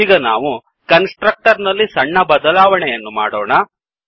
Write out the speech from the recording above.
ಈಗ ನಾವು constructor ನಲ್ಲಿ ಸಣ್ಣ ಬದಲಾವಣೆಯನ್ನು ಮಾಡೋಣ